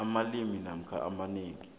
amabili namkha amanengi